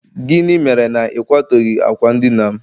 gịnị mere na ị kwadoghị akwa ndina'm?